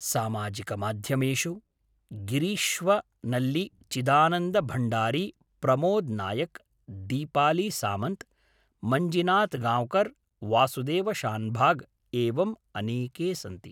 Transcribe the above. सामाजिकमाध्यमेषु गिरीश्वनल्लि चिदानन्द भण्डारि प्रमोद् नायक् दीपालिसामन्त् मञ्जिनाथगांव्कर् वासुदेव शान्भाग एवम् अनेके सन्ति